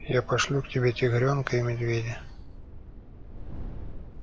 я пошлю к тебе тигрёнка и медведя